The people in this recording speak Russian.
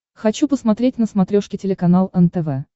хочу посмотреть на смотрешке телеканал нтв